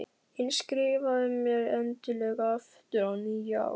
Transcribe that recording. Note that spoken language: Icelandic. En skrifaðu mér endilega aftur á nýju ári.